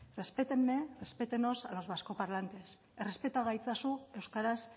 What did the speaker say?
respétenme respétennos a los vascoparlantes errespeta gaitzazu euskaraz